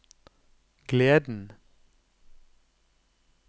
gleden